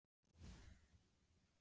Ef þetta er ekki að vera óforskammaður!!